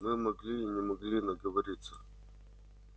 мы могли и не могли наговориться